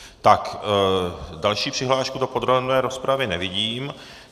Tak, další přihlášku do podrobné rozpravy nevidím.